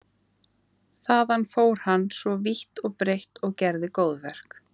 Þaðan fór hann svo vítt og breitt og gerði góðverk.